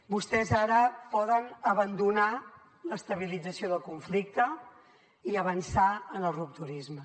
vostès ara poden abandonar l’estabilització del conflicte i avançar en el rupturisme